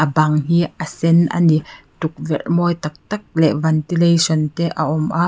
bang hi a sen a ni tukverh mawi tak tak leh ventilation te a awm a.